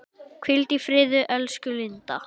Hvíldu í friði, elsku Linda.